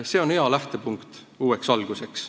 See on hea lähtepunkt uueks alguseks.